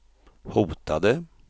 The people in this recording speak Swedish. hotade